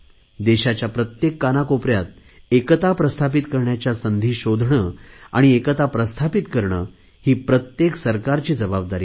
देशाच्या प्रत्येक कानाकोपऱ्यात एकता प्रस्थापित करण्याच्या संधी शोधणे आणि एकता प्रस्थापित करणे ही प्रत्येक सरकारची जबाबदारी आहे